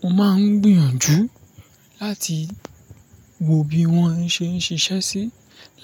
Mo máa ń gbìyànjú láti wò bí wón ṣe ń ṣiṣẹ́ sí,